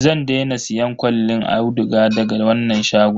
Zan daina siyan kwallin auduga daga wannan shagon.